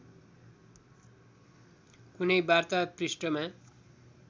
कुनै वार्ता पृष्ठमा